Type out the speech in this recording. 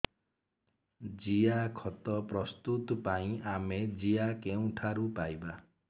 ଜିଆଖତ ପ୍ରସ୍ତୁତ ପାଇଁ ଆମେ ଜିଆ କେଉଁଠାରୁ ପାଈବା